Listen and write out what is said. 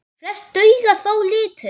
Flest duga þó lítið.